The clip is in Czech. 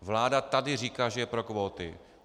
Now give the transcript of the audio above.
Vláda tady říká, že je pro kvóty.